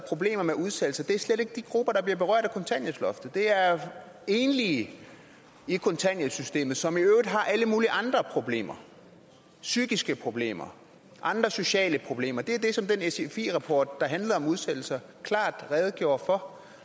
problemer med udsættelse er slet ikke de grupper der bliver berørt af kontanthjælpsloftet det er enlige i kontanthjælpssystemet som i øvrigt har alle mulige andre problemer psykiske problemer andre sociale problemer det er det som den sfi rapport der handler om udsættelser klart redegjorde for